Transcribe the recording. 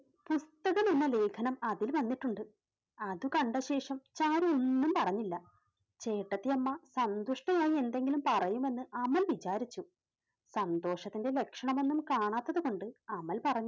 പുസ്തകം എന്ന ലേഖനം അതിൽ വന്നിട്ടുണ്ട്. അതു കണ്ട ശേഷം ചാരു ഒന്നും പറഞ്ഞില്ല ചേട്ടത്തിയമ്മ സന്തുഷ്ടയായി എന്തെങ്കിലും പറയുമെന്ന് അമൽ വിചാരിച്ചു, സന്തോഷത്തിന്റെ ലക്ഷണം ഒന്നും കാണാത്തത് കൊണ്ട് അമൽ പറഞ്ഞു.